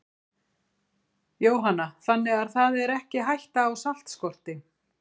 Jóhanna: Þannig það er ekki hætta á saltskorti?